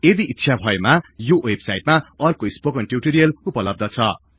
यदि ईच्छा भएमा यो वेबसाइटमा अर्को स्पोकन टिउटोरियल उपलब्ध छ